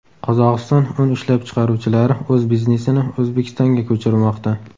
Qozog‘iston un ishlab chiqaruvchilari o‘z biznesini O‘zbekistonga ko‘chirmoqda.